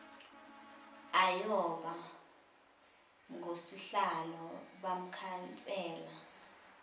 ayoba ngosihlalo bamakhansela